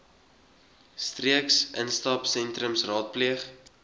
streeks instapsentrums raadpleeg